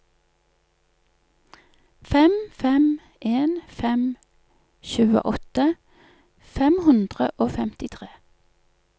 fem fem en fem tjueåtte fem hundre og femtitre